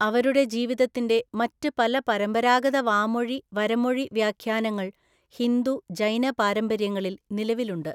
അവരുടെ ജീവിതത്തിന്റെ മറ്റ് പല പരമ്പരാഗത വാമൊഴി, വരമൊഴി വ്യാഖ്യാനങ്ങള്‍ ഹിന്ദു, ജൈന പാരമ്പര്യങ്ങളിൽ നിലവിലുണ്ട്.